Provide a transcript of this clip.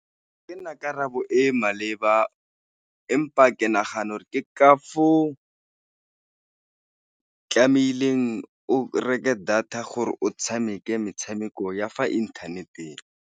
Kena karabo e maleba empa ke nagana gore ke ka foo tlamehileng o reke data, gore o tshameke metshameko ya fa inthaneteng.